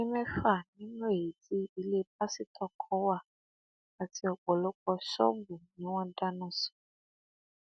ilé mẹfà nínú èyí tí ilé pásítọ kan wà àti ọpọlọpọ ṣọọbù ni wọn dáná sun